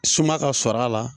Suma ka sɔrɔ a la